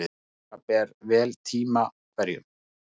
Taka ber vel tíma hverjum.